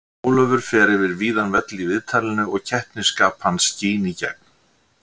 Ólafur fer yfir víðan völl í viðtalinu og keppnisskap hans skín í gegn.